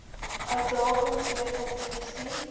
uitdagings deur kompetisie